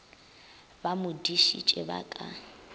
ba mo dišitše ba ka